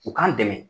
U k'an dɛmɛ